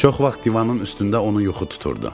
Çox vaxt divanın üstündə onu yuxu tuturdu.